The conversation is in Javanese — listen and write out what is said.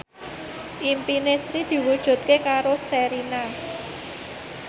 impine Sri diwujudke karo Sherina